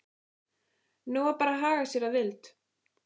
Nú var bara að haga sér að vild.